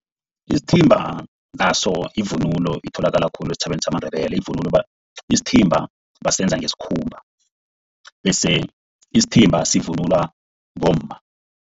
Isithimba naso yivunulo itholakala khulu esitjhabeni samaNdebele. Ivunulo, isithimba basenza ngesikhumba bese isithimba sivunulwa bomma.